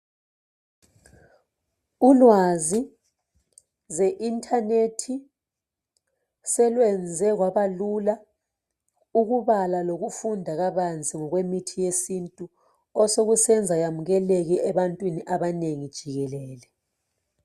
Ulwazi lwe internet selwenze kwabalula ukubala lokufunda kabanzi ngokwemithi yesintu osekusenza yamukeleke ebantwini abanengi jikelele.